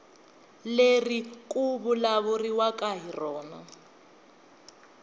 leri ku vulavuriwaka hi rona